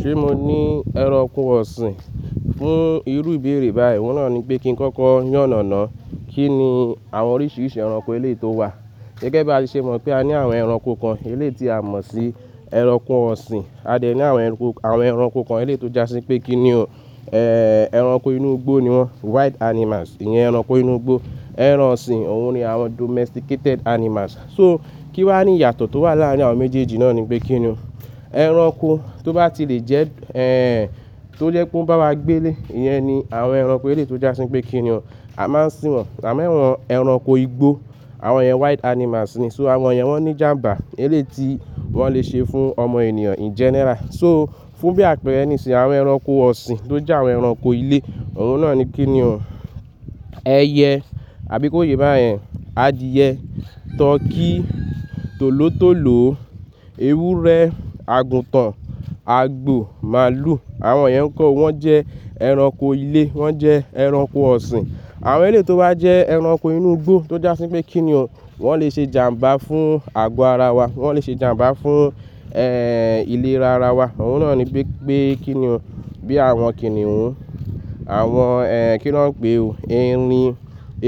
Ṣé mo ní ẹranko ọ̀sìn fún irú ìbéèrè báyìí? Òun náà ni pé kí n kọ́kọ́ yán náà náà. Kí ni àwọn oríṣiríṣi ẹranko ilé tó wà? Gẹ́gẹ́ bí a ṣe mọ̀ pé a ní àwọn ẹranko kan eléèti a mọ̀ sí ẹranko ọ̀sìn, a dẹ̀ ní àwọn ẹranko, àwọn ẹranko kan eléèti ó jásí pé kí ni o, ẹranko inú igbó ni wọ́n, wild animals, ìyẹn ẹranko inú igbó. Ẹran ọ̀sìn òun ni àwọn domesticated animals. So kí wá ní ìyàtọ̀ tó wà láàárín àwọn méjèèjì náà ni pé kí ni o. Ẹranko tó bá ti lè jẹ́, tó jẹ́ pé ó bá wá gbé lé, ìyẹn ni àwọn ẹranko eléèti ó jásí pé kí ni o. A máa ń sìn wọ́n, àmọ́ àwọn ẹranko igbó, àwọn ìyẹn wild animals ni, so àwọn ìyẹn wọ́n ní ìjàǹbá eléèti wọ́n lè ṣe fún ọmọ ènìyàn in general. So fún bí àpèẹrẹ níṣìn, àwọn ẹranko ọ̀sìn tó jẹ́ àwọn ẹranko ilé, òun náà ni kí ni o, ẹyẹ àbí kó yé bá yẹn, adìẹ, turkey, tòló tòló, ewúrẹ́, àgùntàn, àgbò, màlúù, àwọn ìyẹn nkọ́ wọ́n jẹ́ ẹranko ilé, wọ́n jẹ́ ẹranko ọ̀sìn. Àwọn eléyi tó bá jẹ́ ẹranko inú igbó tó jásí pé kí ni o, wọ́n lè ṣe ìjàǹbá fún àgọ́ ara wa, wọ́n lè ṣe ìjàǹbá fún ìlera ara wa. Òun náà ni pé pé kí ni o, bí àwọn kìnnìún, àwọn kí ni wọ́n ń pè o, erin,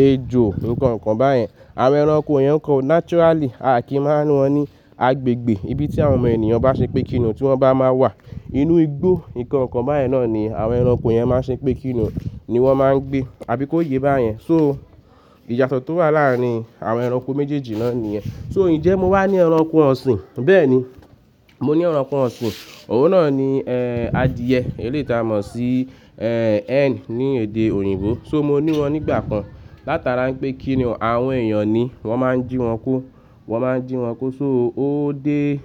ejò nǹkan ǹkan báyẹn. Àwọn ẹranko ìyẹn ǹko naturally a kì í máa ń wọn ní agbègbè ibi tí àwọn ọmọ ènìyàn bá ṣe pé kí ni o tí wọ́n bá máa wà. Inú igbó, nǹkan ǹkan báyẹn náà ni àwọn ẹranko ìyẹn máa ṣe pé kí ni o ni wọ́n máa ń gbé àbí kó yé bá yẹn. So ìyàtọ̀ tó wà láàárín àwọn ẹranko méjèèjì náà nìyẹn. So, n jẹ́ mo wá ní ẹranko ọ̀sìn? Bẹ́ẹ̀ni, mo ní ẹranko ọ̀sìn. Òun náà ni adìẹ eléèti a mọ̀ sí hen ní èdè òyìnbó. So, mo ní wọ́n nígbà kan látara pé kí ni o, àwọn èèyàn ni wọ́n máa ń jí wọn kó, wọ́n máa ń jí wọn kó. So, ó dé,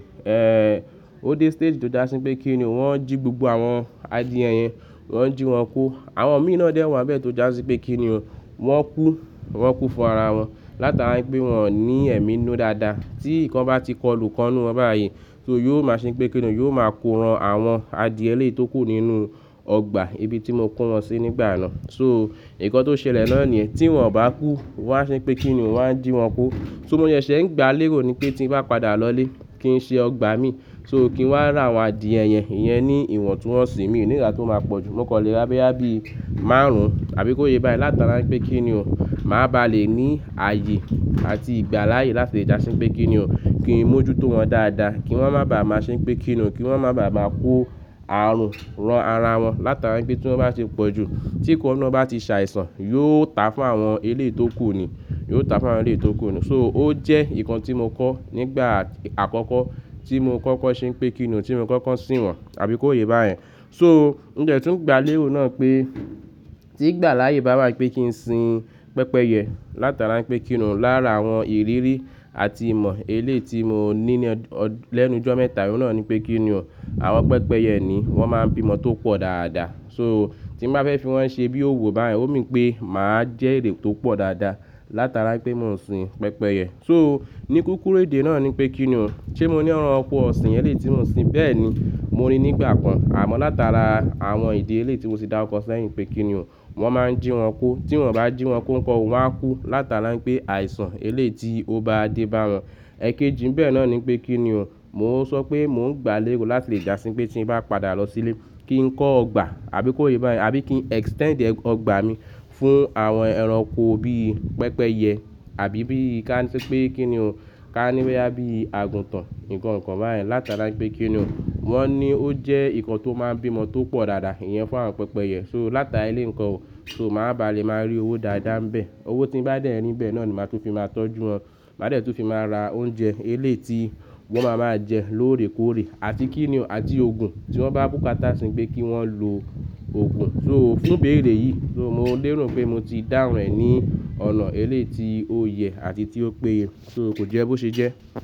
ó dé stage tó jásí pé kí ni o, wọ́n jí gbogbo àwọn adìẹ yẹn, wọ́n jí wọn kó. Àwọn mi náà dẹ́ wa n bẹ́ẹ̀ tó jásí pé kí ni o, wọ́n kú, wọ́n kú fún ara wọn látara pé wọn ní ẹ̀mí ninú dáadáa. Tí nǹkan bá ti kọlu ikan wọn báyìí, so yóò máa ṣe pé kí ni o, yóò máa koran àwọn adìẹ eléèti ó kù nínú ọgbà ibi tí mo kó wọn sí nígbà yen náà So nǹkan tó ṣẹlẹ̀ náà ni yen, tí wọ́n ò bá kú, wọ́n á ṣe pé kí ni o wọ́n á jí wọn ko. So mo sẹ ṣe ń gba lérò ni pé tí ń bá padà lọlé, kí n ṣe ọgbà mi, so kí n wá rà àwọn adìẹ yẹn, ìyẹn ni ìwọ̀ntúnwọ̀nsì mi, òní ìgbà tí ó máa pọ̀ jù, mó kọlé rá bóyá bí máàrún àbí kó yé bá yẹn látara pé kí ni o, màá ba le ní ààyè àti ìgbà láàyè láti dásí pé kí ni o, kí n mójú tó wọn dáadáa, kí wọ́n má bàá máa ṣe pé kí ni o, kí wọ́n má bàá máa kó ààrùn ran ara wọn látara pé tí wọ́n bá ṣe pọ̀ jù, tí nǹkan ọ̀nà bá ti ṣàìsàn, yóò ta fún àwọn eléèti ó kù ni, yóò ta fún àwọn eléèti ó kù ni. So ó jẹ́ nǹkan tí mo kọ́ nígbà àkọ́kọ́ tí mo kọ́kọ́ ṣe pé kí ni o tí mo kọ́kọ́ sìn wọ́n àbí kó yé bá yẹn. So mo de tún gba lérò náà pé tí ìgbà láàyè bá wá pé kí n sin pẹ́pẹ́yẹ látara pé kí ni o lára àwọn ìrírí àti ìmọ̀ eléèti mo ní ní lẹ́nu ijo mẹ́ta, òun náà ni pé kí ni o, àwọn pẹ́pẹ́yẹ ni wọ́n máa ń bímọ tó pọ̀ dáadáa. So tí mo bá fẹ́ fi wọ́n ṣe bí òwo bá yẹn, ó mean wi pé màá jẹ́ èrè tó pọ̀ dáadáa látara pé mò ń sin pẹ́pẹ́yẹ. So ní kúkúrú èdè náà ni pé kí ni o, ṣe mo ní ẹranko ọ̀sìn eléèti mó ń sin? Bẹ́ẹ̀ni, mo ní nígbà kan. Àmọ́ látara àwọn ìdí eléèti mo ti dá rukọ sẹ́yìn pé kí ni o, wọ́n máa ń jí wọn ko. Tí wọ́n bá jí wọn ko nǹkan ò, wa kú látara pé àìsàn eléèti ó bá dé bá wọn. Ẹ kéjì bẹ́ẹ̀ náà ni pé kí ni o, mò ń sọ pé mò ń gba lérò láti lè jásí pé tí ń bá padà lọ sílé, kí n kọ́ ọgbà àbí kó yé bá yẹn àbí kí n extend ọgbà mi fún àwọn ẹranko bí i pẹ́pẹ́yẹ àbí bí i ká ní pé kí ni o ká ní wíya bí i àgùntàn nǹkan ǹkan báyẹn látara pé kí ni o, wọ́n ní ó jẹ́ nǹkan tó máa ń bímọ tó pọ̀ dáadáa, ìyẹn fún àwọn pẹ́pẹ́yẹ. So látara eléèkan ò, so màá ba le máa rí owó dáadáa níbẹ̀. Owó tí bá dẹ́ rìn bẹ́ẹ̀ náà ni màá tún fi máa tọ́jú wọn, màá dẹ́ tún fi máa ra oúnjẹ eléèti wọn máa máa jẹ lóòrè kóòrè àti kí ni o àti òògùn tí wọ́n bá búkáta sín pé kí wọ́n lo òògùn. So fún ìbéèrè yìí, so mo lérò pé mo ti dáhùn ẹ̀ ní ọ̀nà eléèti ó yẹ àti tí ó péye. So kò jẹ́ bó ṣe jẹ́.